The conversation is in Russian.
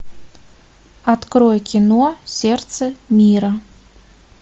открой кино сердце мира